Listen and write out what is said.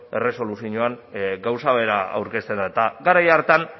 erresoluzioan gauza bera aurkezten da eta garai hartan